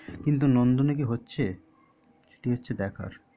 কিন্তু নন্দনে কি হচ্ছে সেটাই হচ্ছে দেখার